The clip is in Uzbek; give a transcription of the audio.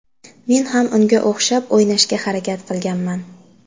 Men ham unga o‘xshab o‘ynashga harakat qilganman.